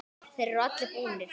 Þeir eru allir búnir.